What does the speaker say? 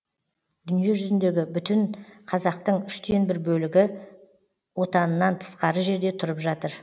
дүние жүзіндегі бүтін қазақтың үштен бір бөлігі отанынан тысқары жерде тұрып жатыр